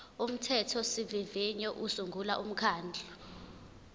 umthethosivivinyo usungula umkhandlu